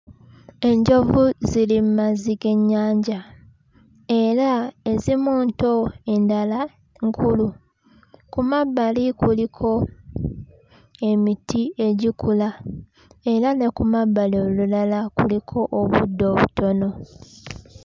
Enjovu ziri mmazi g'ennyanja era ezimu nto endala nkulu ku mabbali kuliko emiti egikula era ne ku mabbali olulala kuliko obuddo obutono.